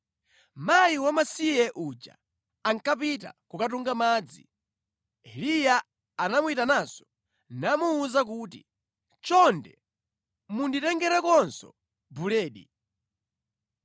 Mayi wamasiye uja ankapita kukatunga madzi, Eliya anamuyitananso namuwuza kuti, “Chonde munditengerekonso buledi.”